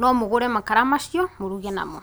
nomũgũre makara macio mũruge namo.